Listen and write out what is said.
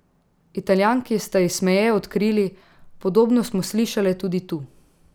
Italijanki sta ji smeje odkrili: "Podobno smo slišale tudi tu.